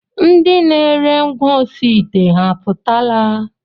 Ndị na-ere ngwaosiite ha apụtala?